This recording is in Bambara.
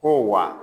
Ko wa